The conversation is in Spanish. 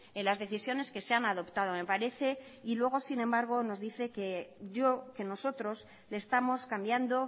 en las decisiones que se han adoptado me parece y luego sin embargo nos dice que nosotros le estamos cambiando